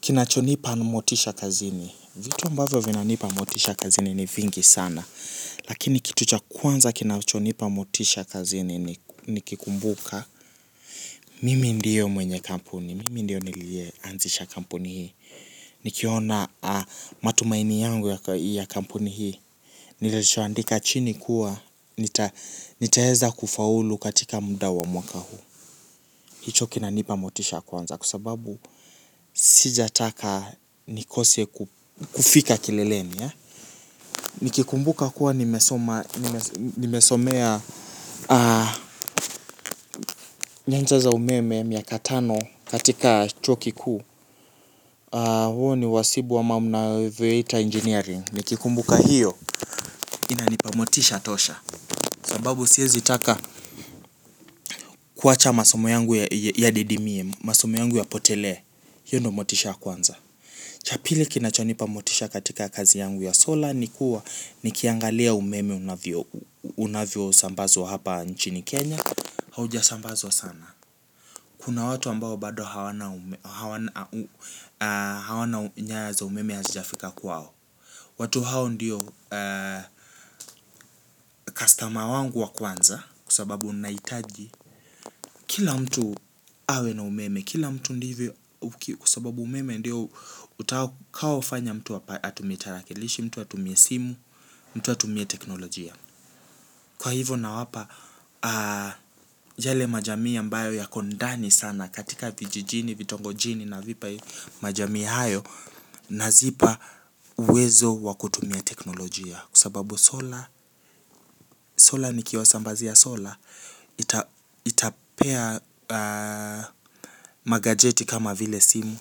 Kinachonipa motisha kazini, vitu ambavyo vinanipa motisha kazini ni vingi sana. Lakini kitu cha kwanza kinachonipa motisha kazini nikikumbuka. Mimi ndiyo mwenye kampuni, mimi ndiyo niliyeanzisha kampuni hii. Nikiona matumaini yangu ya kampuni hii. Nilishaandika chini kuwa, nitaweza kufaulu katika muda wa mwaka huu. Hicho kinanipa motisha kwanza kusababu sijataka nikose kufika kileleni. Nikikumbuka kuwa nimesoma nimesomea nyanja za umeme miaka tano katika chuo kikuu. Huo ni wasibu ama mnavyoita engineering nikikumbuka hiyo. Inanipa motisha tosha kwa sababu siezi taka kuwacha masomo yangu yadidimie masomo yangu yapotelee hio ndo motisha ya kwanza. Cha pili kinachonipa motisha katika kazi yangu ya solar ni kuwa nikiangalia umeme unavyo sambazwa hapa nchini Kenya hauja sambazwa sana. Kuna watu ambao bado hawana hawana nyaya za umeme hazijafika kwao. Watu hao ndiyo customer wangu wa kwanza kwa sababu nahitaji kila mtu awe na umeme, kila mtu ndivyo kwa sababu umeme ndio utakaofanya mtu atumie tarakilishi, mtu atumie simu, mtu atumie teknolojia. Kwa hivo nawapa, yale majamii ambayo yako ndani sana katika vijijini, vitongojini navipa majamii hayo, nazipa uwezo wa kutumia teknolojia. Kwa sababu Solar, Solar nikiwa sambazia Solar, itapea magajeti kama vile simu,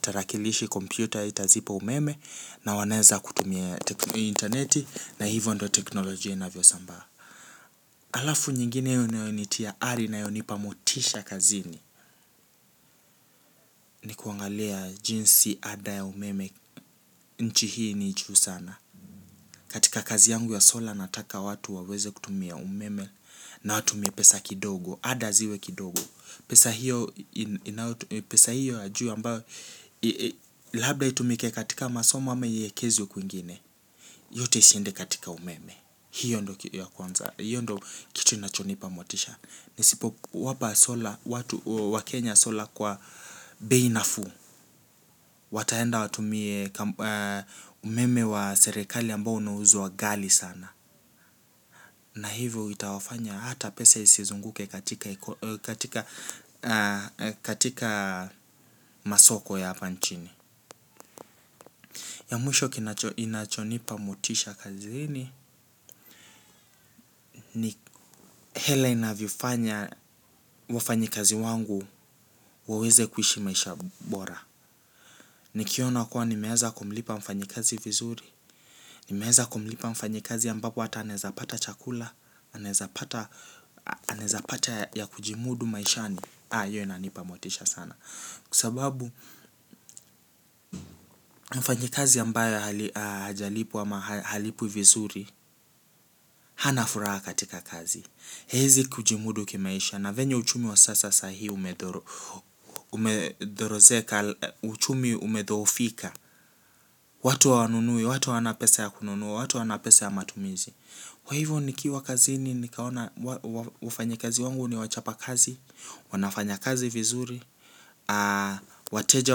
tarakilishi kompyuta, itazipa umeme na wanaeza kutumia interneti na hivyo ndo teknolojia inavyo sambaa. Halafu nyingine inayonitia ari na inayonipa motisha kazini ni kuangalia jinsi ada ya umeme nchi hii ni juu sana. Katika kazi yangu ya solar nataka watu waweze kutumia umeme na watumie pesa kidogo. Ada ziwe kidogo. Pesa hiyo ya juu ambayo labda itumike katika masoma ama iwekezwe kwingine. Yote ishinde katika umeme. Hiyo kitu ya kwanza hiyo ndo kitu inachonipa motisha. Nisipo wapa solar, watu wa Kenya solar kwa bei nafuu. Wataenda watumie umeme wa serikali ambao unauzwa ghali sana. Na hivyo itawafanya hata pesa isizunguke katika masoko ya hapa nchini. Ya mwisho kinachonipa motisha kazini hela inavyofanya wafanyi kazi wangu waweze kuishi maisha bora. Nikiona kuwa nimeanza kumlipa mfanyi kazi vizuri. Nimeanza kumlipa mfanyi kazi ambapo hata anaezapata chakula anaezapata ya kujimudu maishani. Haa, hiyo inanipa motisha sana. Kwa sababu, mfanyikazi ambaye hajalipwa ama halipwi vizuri. Hana furaha katika kazi. Haezi kujimudu kimaisha. Na venye uchumi wa sasa sahii umethorozeka. Uchumi umedhoofika. Watu hawanunui, watu hawana pesa ya kununua, watu hawana pesa ya matumizi. Wa hivyo nikiwa kazi ni nikaona wafanyikazi wangu ni wachapa kazi. Wanafanya kazi vizuri. Wateja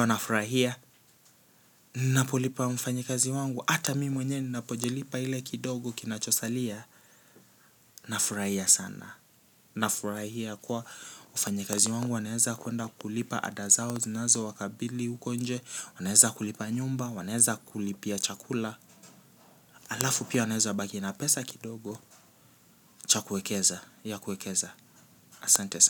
wanafurahia. Napolipa mfanyikazi wangu hata mimi mwenyewe napojilipa ile kidogo kinacho salia. Nafurahia sana. Nafurahia kuwa mfanyikazi wangu wanaeza kuenda kulipa ada zao zinazo wakabili uko nje wanaeza kulipa nyumba wanaeza kulipia chakula halafu pia wanaeza baki na pesa kidogo cha kuekeza ya kuekeza. Asante sana.